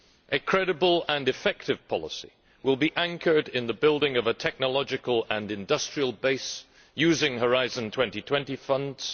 A credible and effective policy will be anchored in the building of a technological and industrial base, using Horizon 2020 funds.